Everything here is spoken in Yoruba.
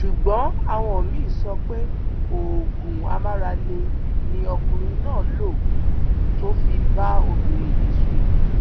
ṣùgbọn àwọn míín ń sọ pé oògùn amáralé ni ọkùnrin náà lò tó fi bá obìnrin yìí sùn